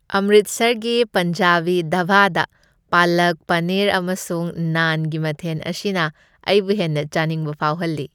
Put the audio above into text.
ꯑꯝꯔꯤꯠꯁꯔꯒꯤ ꯄꯟꯖꯥꯕꯤ ꯙꯥꯕꯥꯗ ꯄꯂꯛ ꯄꯅꯤꯔ ꯑꯃꯁꯨꯡ ꯅꯥꯟꯒꯤ ꯃꯊꯦꯟ ꯑꯁꯤꯅ ꯑꯩꯕꯨ ꯍꯦꯟꯅ ꯆꯥꯅꯤꯡꯕ ꯐꯥꯎꯍꯜꯂꯤ꯫